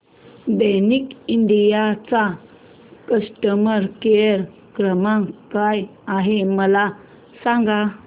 Daikin India चा customer care क्रमांक काय आहे मला सांगा